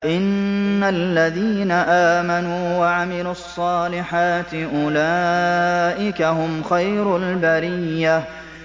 إِنَّ الَّذِينَ آمَنُوا وَعَمِلُوا الصَّالِحَاتِ أُولَٰئِكَ هُمْ خَيْرُ الْبَرِيَّةِ